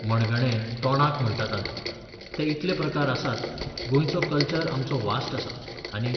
मणगणें, तोणाक म्हणटात आमी. ते इतले प्रकार आसात, गोंयचो कल्चर आमचो व्हास्ट आसा, आनी